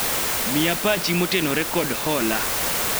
miya pachi motenore kod hola